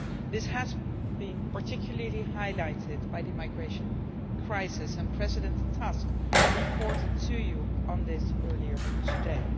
This has been particularly highlighted by the migration crisis, and President Tusk reported to you on this earlier today.